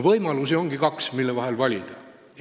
Võimalusi, mille vahel valida, on kaks.